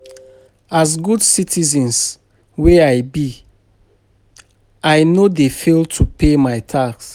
As good citizen wey I be, I no dey fail to pay my tax.